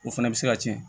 O fana bɛ se ka tiɲɛ